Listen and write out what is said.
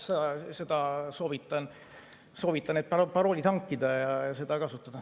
Nii et soovitan need paroolid hankida ja seda kasutada.